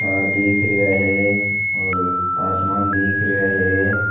तार दिख रिया है और आसमान दिख रिया है।